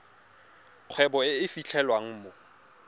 kgwebo e e fitlhelwang mo